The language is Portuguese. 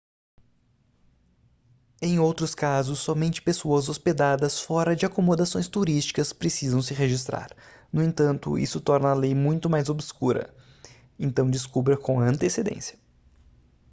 em outros casos somente pessoas hospedadas fora de acomodações turísticas precisam se registrar no entanto isso torna a lei muito mais obscura então descubra com antecedência